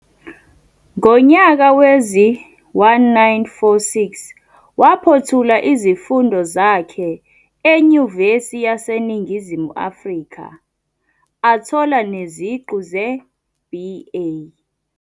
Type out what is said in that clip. Ngonyaka wezi-1946 waphothula izifundo zakhe eNyuvesi yaseNingizimu Afrika athola neziqu ze-B. A.